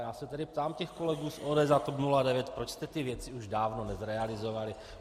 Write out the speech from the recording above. Já se tedy ptám těch kolegů z ODS a TOP 09, proč jste ty věci už dávno nezrealizovali?